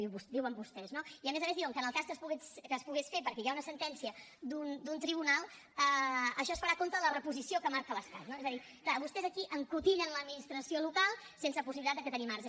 ho diuen vostès no i a més a més diuen que en el cas que es pogués fer perquè hi ha una sentència d’un tribunal això es farà a compte de la reposició que marca l’estat no és a dir clar vostès aquí encotillen l’administració local sense possibilitat de que tingui marge